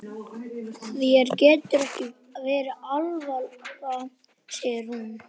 Þér getur ekki verið alvara, sagði hún.